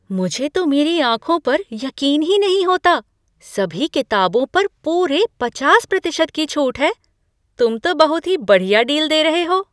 मुझे तो मेरी आंखों पर यकीन ही नहीं होता! सभी किताबों पर पूरे पचास प्रतिशत की छूट है। तुम तो बहुत ही बढ़िया डील दे रहे हो।